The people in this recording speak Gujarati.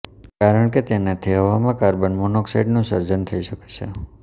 કારણ કે તેનાથી હવામાં કાર્બન મોનોક્સાઈડનું સર્જન થઈ શકે છે